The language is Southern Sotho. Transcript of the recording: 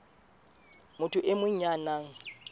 motho e mong ya nang